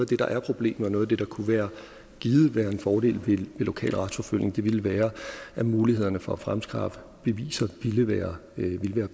der er et problem og at noget af det kunne være en fordel ved lokal retsforfølgning ville være at mulighederne for at fremskaffe beviser ville være